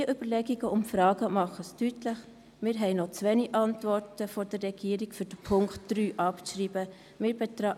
Diese Überlegungen und Fragen machen deutlich, dass wir von der Regierung noch zu wenige Antworten haben, um den Punkt 3 abschreiben zu können.